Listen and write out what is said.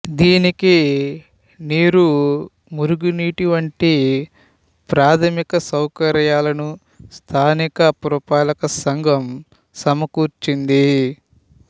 దీనికి నీరు మురుగునీటి వంటి ప్రాథమిక సౌకర్యాలను స్థానిక పురపాలక సంఘం సమకూర్చింది